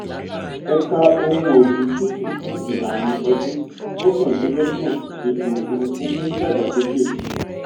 ẹ̀ka ohun ọ̀gbìn súnkì fún ìlàrin-ọdún mọ́kàndínlọ́gbọ̀n ètò-òfùrúfú ń dàgbásókè.